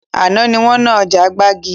Àná ni wọn ná ọjà gbàgì